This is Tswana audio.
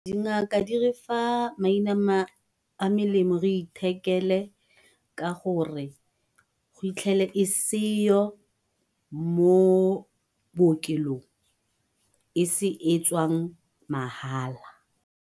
Dingaka di re fa maina a melemo re ithekele ka gore go itlhele e seyo mo bookelong e se e tswang mahala.